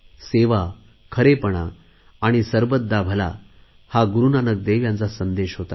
सेवा खरेपणा आणि सरबत दा भला हा गुरुनानक देव यांचा संदेश होता